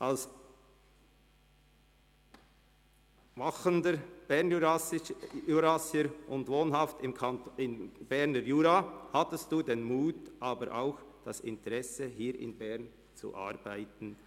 Als Bernjurassier und wohnhaft im Berner Jura hatten Sie den Mut, aber auch das Interesse, hier in Bern zu arbeiten.